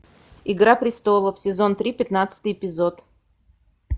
игра престолов сезон три пятнадцатый эпизод